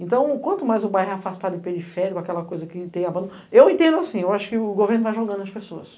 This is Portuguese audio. Então, quanto mais o bairro é afastado de periférico, aquela coisa que tem abandono... Eu entendo assim, eu acho que o governo vai jogando nas pessoas.